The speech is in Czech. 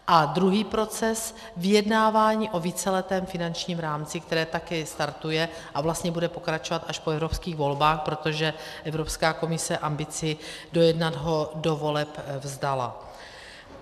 A druhý proces, vyjednávání o víceletém finančním rámci, které také startuje a vlastně bude pokračovat až po evropských volbách, protože Evropská komise ambici dojednat ho do voleb vzdala.